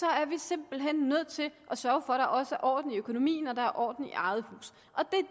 er vi simpelt hen nødt til at sørge for at der også er orden i økonomien og der er orden i eget hus